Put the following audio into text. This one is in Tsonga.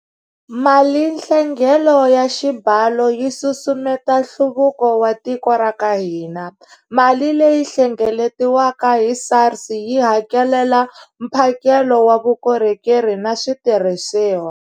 Malinhlengelo ya xibalo yi susumeta nhluvuko wa tiko ra ka hina. Mali leyi hlengeletiwaka hi SARS yi hakelela mphakelo wa vukorhokeri na switirhisiwa.